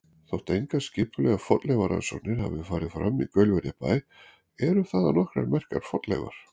Þótt engar skipulegar fornleifarannsóknir hafi farið fram í Gaulverjabæ eru þaðan nokkrar merkar fornleifar.